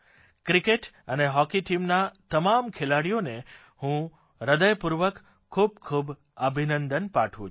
cricket અને hockey ટીમના તમામ ખેલાડીઓને હું હૃદયપૂર્વક ખૂબખૂબ અભિનંદન પાઠવું છું